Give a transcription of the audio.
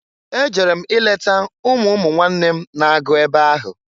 E ejere m ileta umu umuwnanne m n-agụ ebe ahụ.